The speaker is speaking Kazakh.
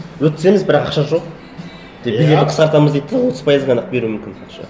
өткіземіз бірақ ақша жоқ деп бюджетті қысқартамыз дейді де отыз пайыз ғана ақ беруі мүмкін ақша